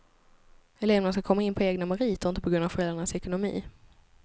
Eleverna ska komma in på egna meriter, inte på grund av föräldrarnas ekonomi.